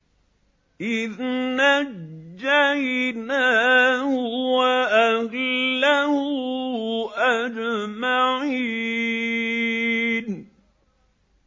إِذْ نَجَّيْنَاهُ وَأَهْلَهُ أَجْمَعِينَ